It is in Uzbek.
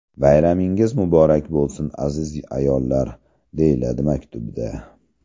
Bayramingiz muborak bo‘lsin aziz ayollar”, − deyiladi maktubda.